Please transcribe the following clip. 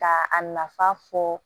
Ka a nafa fɔ